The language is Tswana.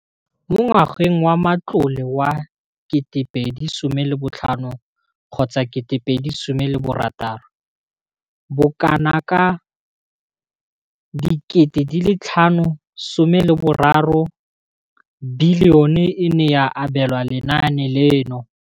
Mo ngwageng wa matlole wa 2015,16, bokanaka R5 703 bilione e ne ya abelwa lenaane leno.